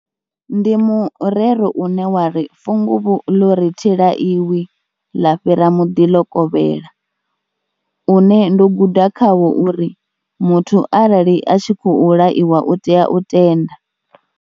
Ndi murero une wa ri funguvhu ḽo ri thi laiwi ḽa fhira muḓi ḽo kovhela une ndo guda khawo uri muthu arali a tshi khou laiwa u tea u tenda.